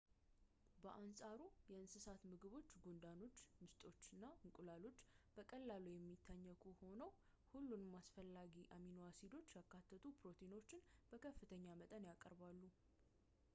በአንፃሩ፣ የእንስሳት ምግቦች ጉንዳኖች፣ ምስጦች፣ እንቁላሎች በቀላሉ የሚታኘኩ ሆነው ሁሉንም አስፈላጊ አሚኖ አሲዶችን ያካተቱ ፕሮቲኖችን በከፍተኛ መጠን ያቀርባሉ